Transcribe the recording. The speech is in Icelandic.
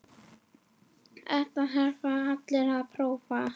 Þetta þurfa allir að prófa.